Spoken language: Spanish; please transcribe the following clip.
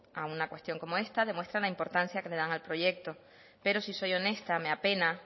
a una cuestión como esta demuestra la importancia que le dan al proyecto pero si soy honesta me a pena